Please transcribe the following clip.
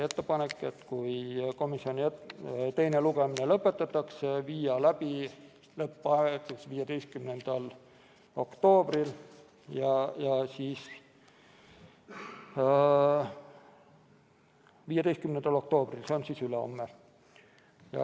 Kui teine lugemine lõpetatakse, siis viia läbi lõpphääletus 15. oktoobril – see on ülehomme.